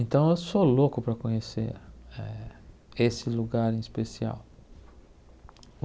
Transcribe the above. Então, eu sou louco para conhecer eh esse lugar em especial.